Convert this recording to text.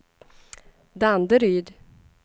Danderyd